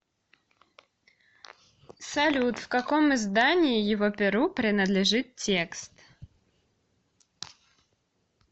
салют в каком издании его перу принадлежит текст